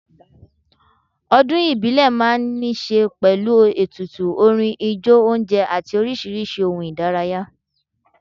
Ọdún ìbílẹ̀ máa ń ní ṣe pẹ̀lú ètùtù, orin, ijó oúnjẹ àti oríṣiríṣi ohun ìdárayá.